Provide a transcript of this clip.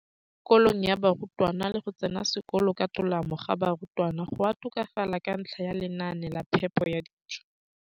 kolong ga barutwana le go tsena sekolo ka tolamo ga barutwana go a tokafala ka ntlha ya lenaane la phepo ya dijo.